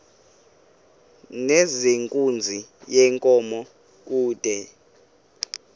nezenkunzi yenkomo kude